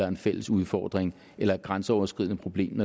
en fælles udfordring eller et grænseoverskridende problem